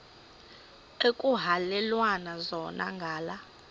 ekuhhalelwana zona ngala